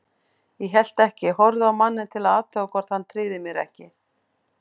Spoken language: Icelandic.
Ég hélt ekki, horfði á manninn til að athuga hvort hann tryði mér ekki.